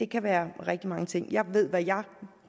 kan være rigtig mange ting jeg ved hvad jeg